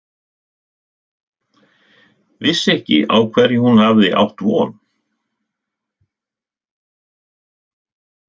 Vissi ekki á hverju hún hafði átt von.